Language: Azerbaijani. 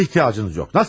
Nəsil ehtiyacınız yox?